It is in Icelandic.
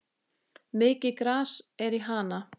Mikið gras er í Hana.